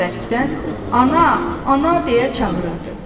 Üçü də bərkdən ana, ana deyə çağırırdı.